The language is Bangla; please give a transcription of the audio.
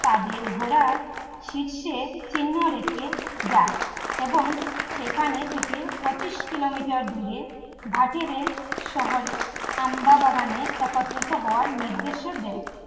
তাদের ঘোড়া শীর্ষে চিহ্ন রেখে যায় এবং সেখানে থেকে পঁচিশ kilometer দূরে ভাটের শহরে আম্বা বাগানে একত্রিত হওয়ার নির্দেশ দেয়